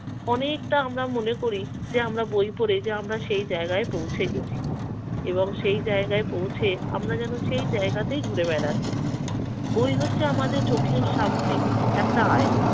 অনেকটা আমরা মনে করি যে আমরা বই পড়ে যে আমরা সেই জায়গায় পৌঁছে গেছি এবং সে জায়গায় পৌঁছে আমরা যেন সে জায়গাতেই ঘুরে বেড়াচ্ছি। বই হচ্ছে আমাদের চোখের সামনে একটা আয়না।